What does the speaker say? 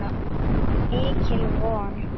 Mikil von.